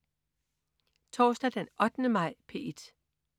Torsdag den 8. maj - P1: